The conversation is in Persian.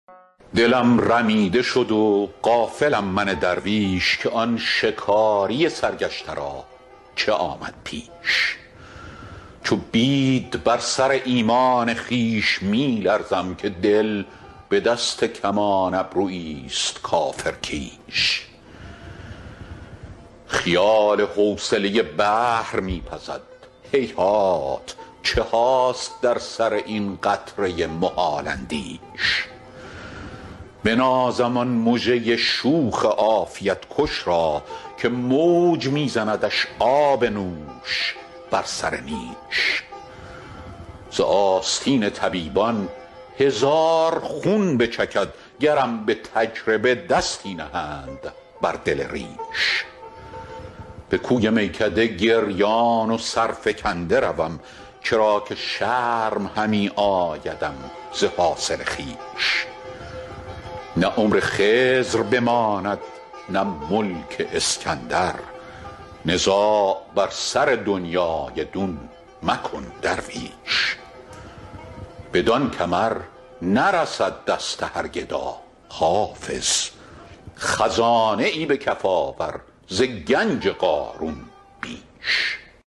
دلم رمیده شد و غافلم من درویش که آن شکاری سرگشته را چه آمد پیش چو بید بر سر ایمان خویش می لرزم که دل به دست کمان ابرویی ست کافرکیش خیال حوصله بحر می پزد هیهات چه هاست در سر این قطره محال اندیش بنازم آن مژه شوخ عافیت کش را که موج می زندش آب نوش بر سر نیش ز آستین طبیبان هزار خون بچکد گرم به تجربه دستی نهند بر دل ریش به کوی میکده گریان و سرفکنده روم چرا که شرم همی آیدم ز حاصل خویش نه عمر خضر بماند نه ملک اسکندر نزاع بر سر دنیی دون مکن درویش بدان کمر نرسد دست هر گدا حافظ خزانه ای به کف آور ز گنج قارون بیش